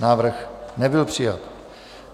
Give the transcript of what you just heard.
Návrh nebyl přijat.